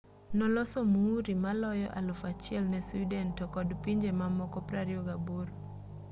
noloso muuri maloyo 1,000 ne sweden to kod pinje mamoko 28